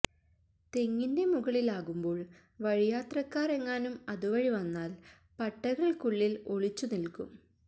തെങ്ങിന്റെ മുകളിലാകുമ്പോള് വഴിയാത്രക്കാര് ഏങ്ങാനും അതു വഴിവന്നാല് പട്ടകള്ക്കുള്ളില് ഒളിച്ചു നില്ക്കും